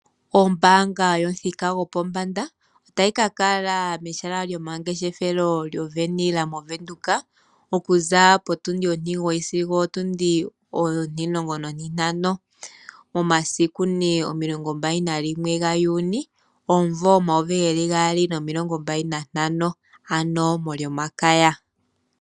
Ombaanga yomuthika gopombanda otayi kakala mehala lyomangeshefelo goWenhill mOvenduka okuza potundi ontimulongo sigo opotundi ontimugoyi. Omasiku omilongo mbali gaJuni omumvo omayovi gaali nomilongobali nantano, molyomakaya.